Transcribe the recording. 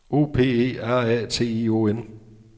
O P E R A T I O N